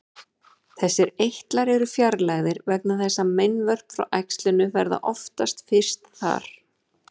Þessir eitlar eru fjarlægðir vegna þess að meinvörp frá æxlinu verða oftast fyrst þar.